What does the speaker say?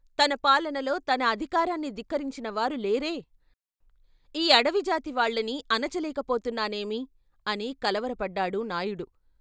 "తన పాలనలో తన అధికారాన్ని ధిక్కరించినవారు లేరే ! ఈ అడవిజాతి వాళ్ళని అణచలేక పోతున్నానేమి అని కలవరపడ్డాడు నాయుడు?